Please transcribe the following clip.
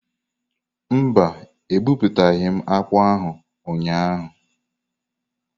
Mba, ebuputaghi m akpu ahu ụnyahụ.